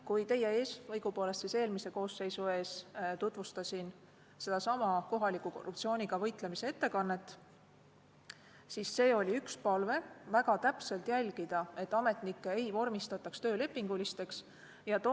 Kui ma teie ees, õigupoolest eelmise koosseisu ees tutvustasin kohaliku korruptsiooniga võitlemise ettekannet, siis oli üks palve väga täpselt jälgida, et ametnikke ei vormistataks töölepingulisteks töötajateks.